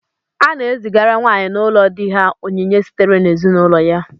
A na-ezigara nwaanyị n'ụlọ di ha onyinye sitere n'ezinaụlọ ya.